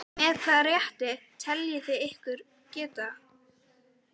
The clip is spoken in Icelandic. Með hvaða rétti teljið þið ykkur geta það?